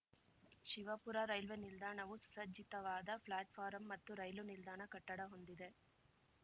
Shivapura railway ನಿಲ್ದಾಣವು ಸುಸಜ್ಜಿತವಾದ platform ಮತ್ತು ರೈಲು ನಿಲ್ದಾಣ ಕಟ್ಟಡ ಹೊಂದಿದೆ